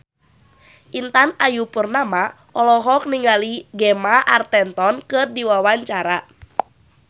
Intan Ayu Purnama olohok ningali Gemma Arterton keur diwawancara